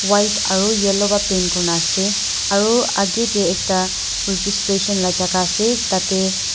white aro yellow bara paint kurina ase aro aki teh ekta registration la jaka ase tati.